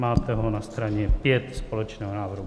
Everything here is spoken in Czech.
Máte ho na straně 5 společného návrhu.